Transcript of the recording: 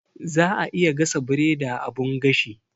Za'a iya gasa biredi a abun gashi.